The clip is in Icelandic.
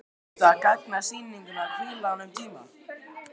Finnst þér það gagnast sýningunni að hvíla hana um tíma?